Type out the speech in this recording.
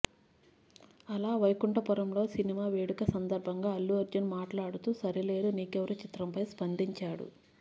అల వైకుంఠపురంలో సినిమా వేడుక సందర్బంగా అల్లు అర్జున్ మాట్లాడుతూ సరిలేరు నీకెవ్వరు చిత్రంపై స్పందించాడు